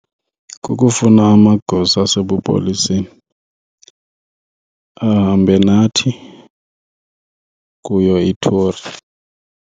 Kukufuna amagosa asebupoliseni ahambe nathi kuyo ithori.